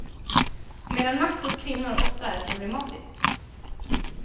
Medan makt hos kvinnor ofta är problematisk.